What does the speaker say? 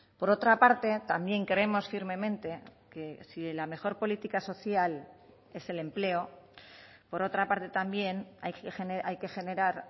por otra parte también creemos firmemente que si la mejor política social es el empleo por otra parte también hay que generar